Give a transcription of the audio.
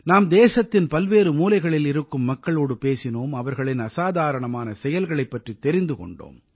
நாம் தேசத்தின் பல்வேறு மூலைகளில் இருக்கும் மக்களோடு பேசினோம் அவர்களின் அசாதாரணமான செயல்களைப் பற்றித் தெரிந்து கொண்டோம்